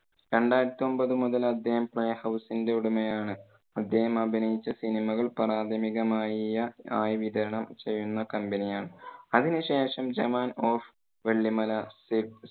രണ്ടായിരത്തി ഒമ്പത് മുതൽ അദ്ദേഹം playhouse ന്റെ ഉടമയാണ്. അദ്ദേഹം അഭിനയിച്ച സിനിമകൾ പ്രാഥമികമായ~പ്രാഥമികമായി വിതരണം ചെയ്യുന്ന company ആണ്. അതിനു ശേഷം ജവാൻ of വെള്ളിമല